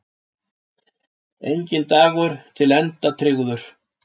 Enginn dagur er til enda tryggður.